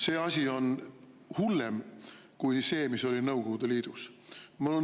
See asi on hullem kui see, mis oli Nõukogude Liidus.